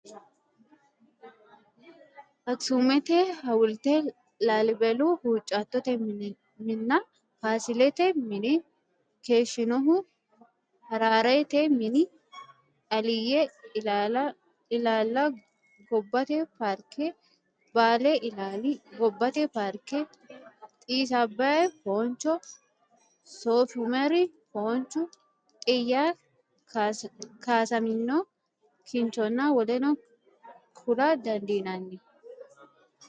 Aksumete hawulte, Laa- libelu huuccattote minna, Faasilete mine, keeshshinohu Hararete mini, Aliyye ilaalla gobbate paarke, Baale ilaalla gobbate paarke, Xiis Abbay fooncho, Soofi Umeri fooncho, Xiyya kaasamino kinchonna woleno kula dandiinanni.